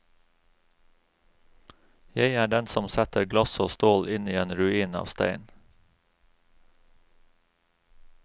Jeg er den som setter glass og stål inn i en ruin av stein.